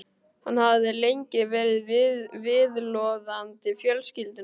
Hann hafði lengi verið viðloðandi fjölskylduna.